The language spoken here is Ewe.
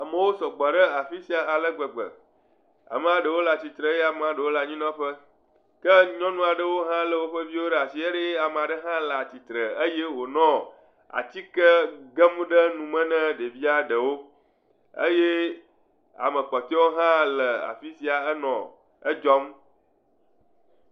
Amewo sɔgbɔ ɖe afi sia ale gbegbe, ama ɖewo le atsitre eye ɖewo le anyinɔƒe ke nyɔnu aɖe lé via ɖe asi ye ɖe ame aɖe hã le atsitre eye wonɔ atike gem ɖe nume na ɖevia ɖewo eye ame kpɔtɔawo hã le afi sia le edzɔ.